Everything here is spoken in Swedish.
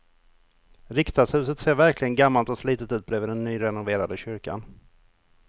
Riksdagshuset ser verkligen gammalt och slitet ut bredvid den nyrenoverade kyrkan.